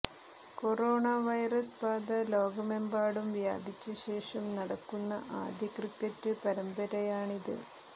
corona virus ബാധ ലോകമെമ്പാടും വ്യാപിച്ചശേഷം നടക്കുന്ന ആദ്യ ക്രിക്കറ്റ് പരമ്പരയാണിത്